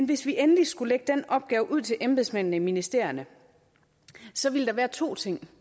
hvis vi endelig skulle lægge den opgave ud til embedsmændene i ministerierne så ville der være to ting